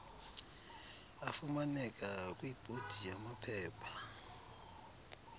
afumaneka kwibhodi yamaphepha